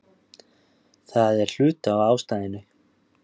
Það er hluti af ástæðunni.